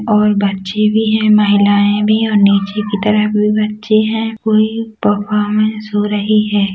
और बच्चे भी है महिलाएँ भी है और नीचे की तरफ भी बच्चे है कोई परफॉर्मेंस हो रही है।